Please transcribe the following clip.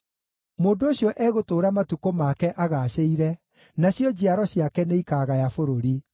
Mũndũ ũcio egũtũũra matukũ make agaacĩire, nacio njiaro ciake nĩikaagaya bũrũri.